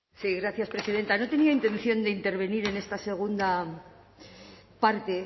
sí gracias presidenta no tenía intención de intervenir en esta segunda parte